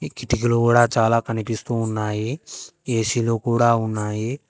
చిటికలు కూడా చాలా కనిపిస్తూ ఉన్నాయి ఏసీలు కూడా ఉన్నాయి.